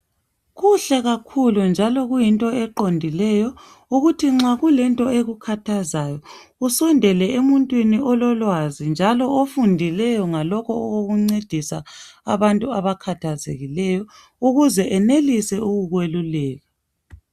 Kuhle kakhulu njalo kuyinto eqondileyo ukuthi nxa kulento ekukhathazayo usondele emuntwini ololwazi njalo ofundileyo ngalokho okokuncedisa abantu abakhathazekileyo ukuze enelise ukukweluleka